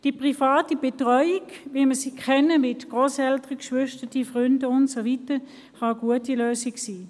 Die private Betreuung, wie wir sie kennen, mit Grosseltern, Geschwistern, Freunden und so weiter, kann eine gute Lösung sein.